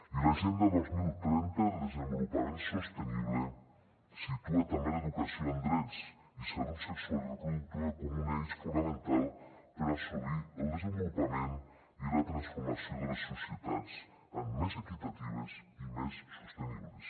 i l’agenda dos mil trenta de desenvolupament sostenible situa també l’educació en drets i salut sexual i reproductiva com un eix fonamental per assolir el desenvolupament i la transformació de les societats en més equitatives i més sostenibles